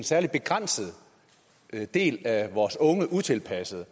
særlig begrænset del af vores unge utilpassede